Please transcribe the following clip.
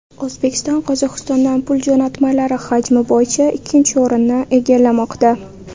O‘zbekiston Qozog‘istondan pul jo‘natmalari hajmi bo‘yicha ikkinchi o‘rinni egallamoqda.